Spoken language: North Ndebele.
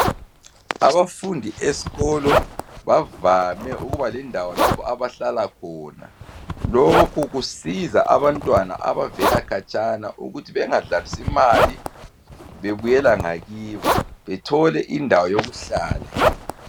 Abafundi esikolo bavame ukuba lendawo lapha abahlala khona. Lokhu kusiza abantwana abavela khatshana, ukuthi bengadlalisi imali, bebuyeka ngakibo. Bathole indawo yokuhlala.